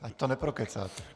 Ať to neprokecáte.